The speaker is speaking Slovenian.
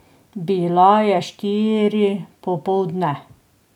Bila je štiri popoldne.